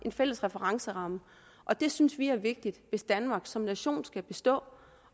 fælles referenceramme og det synes vi er vigtigt hvis danmark som nation skal bestå